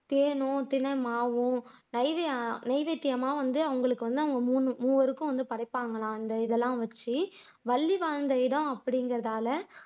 தேனும், திணை மாவும் நெய்வேத்தியமா வந்து அவங்களுக்கு வந்து அவங்க மூமூவருக்கும் படைப்பாங்கலாம் அந்த இதெல்லாம் வச்சு வள்ளி வாழ்ந்த இடம் அப்படிங்கிறதால